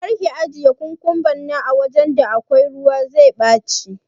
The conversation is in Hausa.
karka ajiye kukumban nan awajan da akwai ruwa, zai ɓaci.